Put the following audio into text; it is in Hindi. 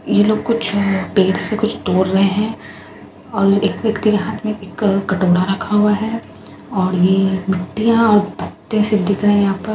ये लोग कुछ पेड़ से कुछ तोड़ रहे हैं और एक व्यक्ति के हाथ में एक कटोरा रखा हुआ है और ये मिट्टियाँ और पत्ते सिर्फ दिख रहे हैं यहाँ पर।